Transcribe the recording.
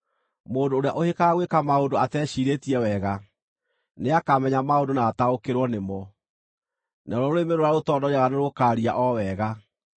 Mũndũ ũrĩa ũhĩkaga gwĩka maũndũ ateciirĩtie wega, nĩakamenya maũndũ na ataũkĩrwo nĩmo, naruo rũrĩmĩ rũrĩa rũtondoiraga nĩrũkaaria o wega.